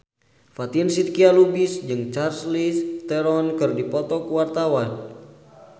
Fatin Shidqia Lubis jeung Charlize Theron keur dipoto ku wartawan